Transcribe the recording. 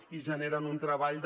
i generen un treball de